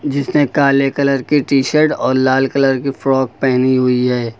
जिसने काले कलर की टी-शर्ट और लाल कलर की फ्रॉक पहनी हुई है।